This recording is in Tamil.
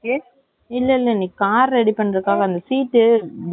வேல பண்ணுற பக்கமே leave ஆ இல்ல இவங்க on duty ல இருக்காங்களா.